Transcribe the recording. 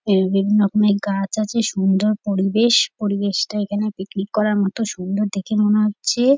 এই বিভিন্ন রকমের গাছ সুন্দর পরিবেশ। পরিবেশটা এখানে পিকনিক করার মতন সুন্দর দেখে মনে হচ্ছে-এ।